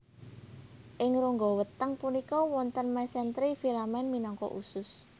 Ing rongga weteng punika wonten mesentri filament minangka usus